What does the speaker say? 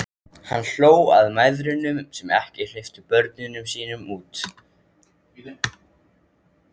Hann hló að mæðrunum sem ekki hleyptu börnunum sínum út.